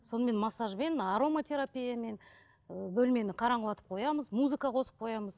сонымен массажбен ароматерапиямен ы бөлмені қараңғылатып қоямыз музыка қосып қоямыз